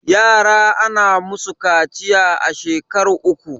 yara ana musu kaciya a shekar uku